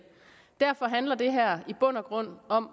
derfor handler det her i bund og grund om